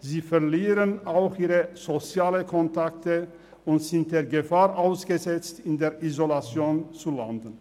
sie verlieren auch ihre sozialen Kontakte und sind der Gefahr ausgesetzt, in der Isolation zu landen.